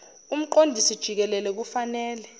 umqondisi jikelele kufanele